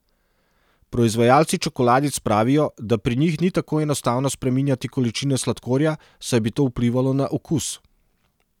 Proizvajalci čokoladic pravijo, da pri njih ni tako enostavno spreminjati količine sladkorja, saj bi to vplivalo na okus.